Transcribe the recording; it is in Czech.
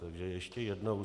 Takže ještě jednou.